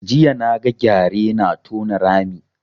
Jiya na ga gyare na tona rami